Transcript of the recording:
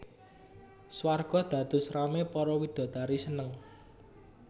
Swarga dados ramé para widodari seneng